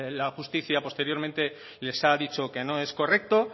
la justicia posteriormente les ha dicho que no es correcto